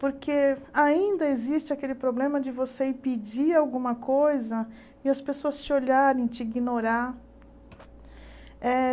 Porque ainda existe aquele problema de você impedir alguma coisa e as pessoas te olharem, te ignorar. Eh